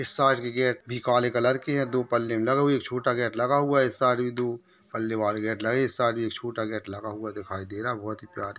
इस साइड के गेट भी काले कलर के हैं दो पल्ले लगे हुए एक छोटा गेट लगा हुआ इस साइड भी दो पल्ले वाले गेट लगे इस साड भी एक छोटा गेट लगा हुआ दिखाई दे रहा बहुत ही प्यारे --